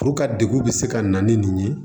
degu bɛ se ka na ni nin ye